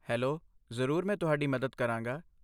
Hello, ਜ਼ਰੂਰ, ਮੈਂ ਤੁਹਾਡੀ ਮਦਦ ਕਰਾਂਗਾ।